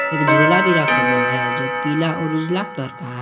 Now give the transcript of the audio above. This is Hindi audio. एक झोला भी रखा हुआ है जो पीला और उजला कलर का है।